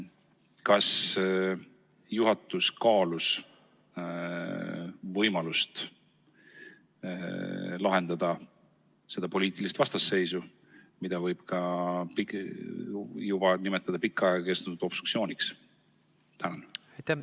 Kas juhatus kaalus võimalust lahendada seda poliitilist vastasseisu, mida võib nimetada ka pikka aega kestnud obstruktsiooniks?